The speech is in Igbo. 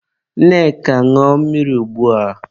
Nneka, ṅụọ mmiri ugbua!